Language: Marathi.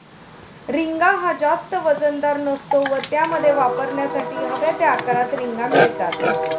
रिंगा हा जास्त वजनदार नसतो व त्यामध्ये वापरण्यासाठी हव्या त्या आकारात रिंगा मिळतात.